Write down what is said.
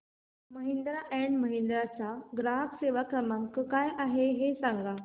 Mahindra and Mahindra चा ग्राहक सेवा क्रमांक काय आहे हे सांगा